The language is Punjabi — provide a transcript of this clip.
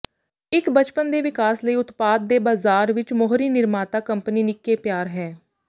ਇੱਕ ਬਚਪਨ ਦੇ ਵਿਕਾਸ ਲਈ ਉਤਪਾਦ ਦੇ ਬਾਜ਼ਾਰ ਵਿਚ ਮੋਹਰੀ ਨਿਰਮਾਤਾ ਕੰਪਨੀ ਨਿੱਕੇ ਪਿਆਰ ਹੈ